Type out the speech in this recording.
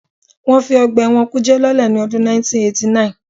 Wọ́n fi ọgbà ẹ̀wọ̀n kùjé lọ́lẹ̀ ní ọdún 1989